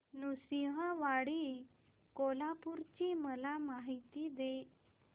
नृसिंहवाडी कोल्हापूर ची मला माहिती दे